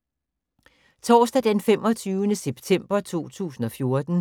Torsdag d. 25. september 2014